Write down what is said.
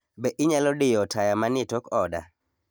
Be inyalo diyo taya manie tok oda?